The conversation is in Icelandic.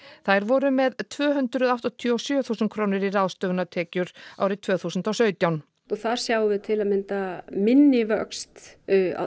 þær voru með tvö hundruð áttatíu og sjö þúsund krónur í ráðstöfunartekjur árið tvö þúsund og sautján og þar sjáum við til að mynda minni vöxt